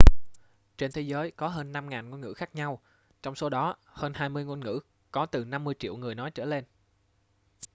trên thế giới có hơn 5.000 ngôn ngữ khác nhau trong số đó hơn hai mươi ngôn ngữ có từ 50 triệu người nói trở lên